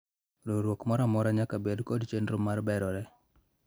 Riwruok moro amora nyaka bed kod chenro mar berore